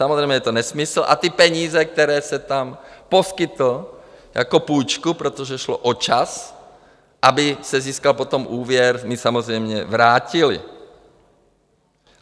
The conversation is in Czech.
Samozřejmě je to nesmysl a ty peníze, které jsem tam poskytl jako půjčku, protože šlo o čas, aby se získal potom úvěr, mi samozřejmě vrátili.